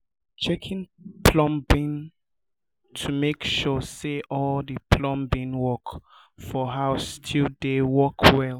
checking the plumbing to make sure say all the plumbing work for house still dey work well